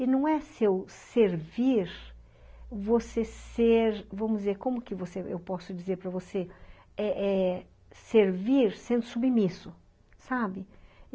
E não é seu servir, você ser, vamos dizer, como que você, eu posso dizer para você, é é servir sendo submisso, sabe?